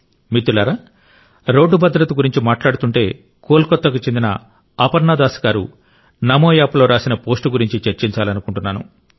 మిత్రులారా రోడ్డు భద్రత గురించి మాట్లాడుతుంటే కోల్కతాకు చెందిన అపర్ణ దాస్ గారు నమో యాప్లో రాసిన పోస్ట్ గురించి చర్చించాలనుకుంటున్నాను